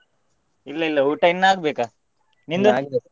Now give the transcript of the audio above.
ಇಲ್ಲಾ ಇಲ್ಲಾ ಊಟ ಇನ್ನು ಆಗ್ಬೇಕಾ, ನಿಂದು?